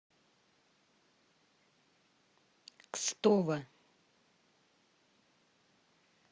кстово